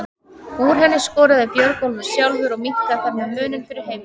Úr henni skoraði Björgólfur sjálfur og minnkaði þar með muninn fyrir heimamenn.